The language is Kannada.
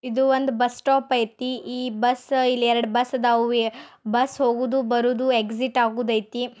ಇದು ಒಂದು ಬಸ್ ಸ್ಟಾಪ್ ಐತೆ ಈ ಬಸ್ ಇಲ್ಲಿ ಎರಡು ಬಸ್ ಅದವು ಬಸ್ಸು ಹೋಗೋದು ಬರೋದು ಎಕ್ಸಿಟ್ ಆಗೋದು ಐತಿ.